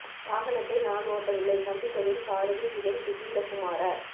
வாகனத்தை நான் ஓட்டவில்லை சம்பிக்கவின் சாரதி திலும் துசிந்த குமார